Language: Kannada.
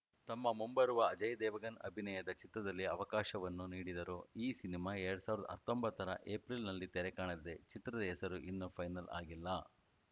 ತಮ್ಮ ಮುಂಬರುವ ಅಜಯ್‌ ದೇವಗನ್‌ ಅಭಿನಯದ ಚಿತ್ರದಲ್ಲಿ ಅವಕಾಶವನ್ನೂ ನೀಡಿದರು ಈ ಸಿನಿಮಾ ಎರಡ್ ಸಾವಿರದ ಹತ್ತೊಂಬತ್ತರ ಎಪ್ರಿಲ್‌ನಲ್ಲಿ ತೆರೆ ಕಾಣಲಿದೆ ಚಿತ್ರದ ಹೆಸರು ಇನ್ನೂ ಫೈನಲ್‌ ಆಗಿಲ್ಲ